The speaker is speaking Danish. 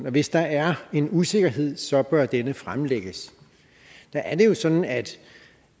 at hvis der er en usikkerhed så bør denne fremlægges der er det jo sådan at